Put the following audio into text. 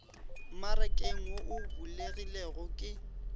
mmarakeng wo o bulegilego ke